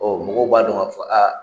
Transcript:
Ɔ mɔgɔw b'a dɔn ka fɔ aa.